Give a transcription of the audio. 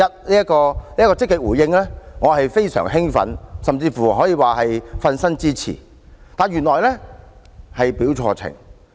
對於這項積極回應，我非常興奮，甚至可以說是"瞓身"支持，但原來卻是表錯情。